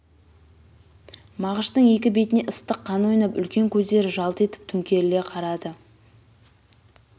мағыштың екі бетіне ыстық қан ойнап үлкен көздері жалт етіп төңқеріле қарады